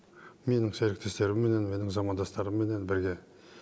менің серіктестерімменен менің замандастарымменен бірге